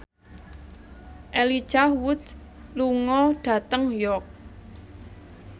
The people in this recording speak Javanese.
Elijah Wood lunga dhateng York